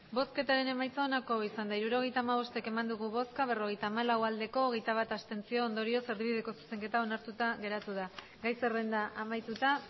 emandako botoak hirurogeita hamabost bai berrogeita hamalau abstentzioak hogeita bat ondorioz erdibideko zuzenketa onartuta geratu da gai zerrenda amaituta